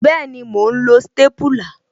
Bẹẹni, mo ń lo stépúlà